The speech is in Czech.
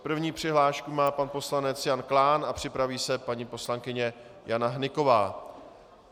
První přihlášku má pan poslanec Jan Klán a připraví se paní poslankyně Jana Hnyková.